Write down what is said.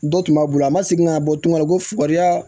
Dɔ tun b'a bolo a ma segin ka na bɔ tunga la ko fukɔri ya